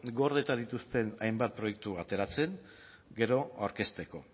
gordeta dituzten hainbat proiektu ateratzen gero aurkezteko